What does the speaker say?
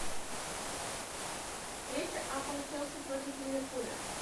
встреча апл челси против ливерпуля